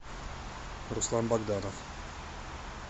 руслан богданов